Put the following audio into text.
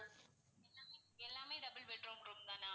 எல்லாமே எல்லாமே double bedroom room தானா?